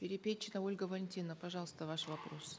перепечина ольга валентиновна пожалуйста ваш вопрос